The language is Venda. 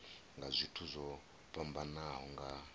nga zwithu zwo fhambanaho nga